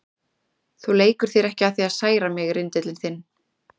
Þú leikur þér ekki að því að særa mig, rindillinn þinn.